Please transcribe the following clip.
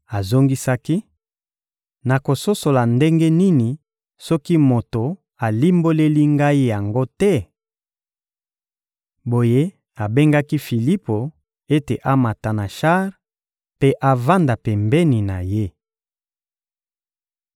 Azongisaki: — Nakososola ndenge nini soki moto alimboleli ngai yango te? Boye abengaki Filipo ete amata na shar mpe avanda pembeni na ye.